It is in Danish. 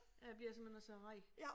Ja jeg bliver simpelthen også så ræd